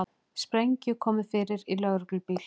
Sprengju komið fyrir í lögreglubíl